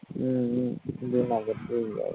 હમ હમ જૂનાગઢ ગીરવારુ